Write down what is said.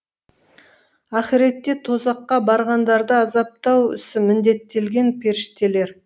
ақиретте тозаққа барғандарды азаптау ісі міндеттелген періштелер